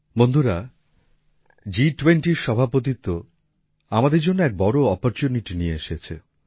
বন্ধুরা G20 র সভাপতিত্ব আমাদের জন্য এক বড় অপরচুনিটি নিয়ে এসেছে